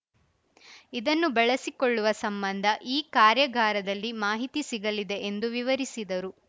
ಇದನ್ನು ಬಳಸಿಕೊಳ್ಳುವ ಸಂಬಂಧ ಈ ಕಾರ್ಯಾಗಾರದಲ್ಲಿ ಮಾಹಿತಿ ಸಿಗಲಿದೆ ಎಂದು ವಿವರಿಸಿದರು